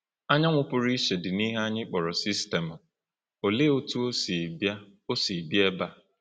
Anyanwụ pụrụ iche dị n’ihe anyị kpọrọ sistemụ — Olee otú ọ si bịa ọ si bịa ebe a?